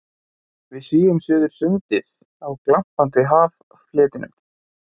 Við svífum suður sundið á glampandi haffletinum.